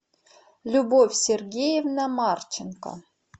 любовь сергеевна марченко